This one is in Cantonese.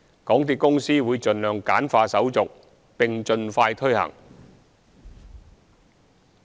港鐵公司會盡量簡化手續，並盡快推行。